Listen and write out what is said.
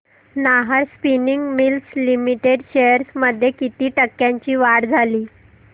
Nahar spinning mills limited shares मध्ये किती टक्क्यांची वाढ झाली